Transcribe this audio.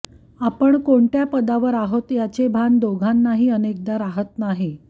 आपण कोणत्या पदावर आहोत याचे भान दोघांनाही अनेकदा राहत नाही